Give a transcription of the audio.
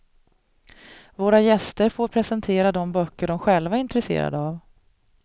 Våra gäster får presentera de böcker de själva är intresserade av.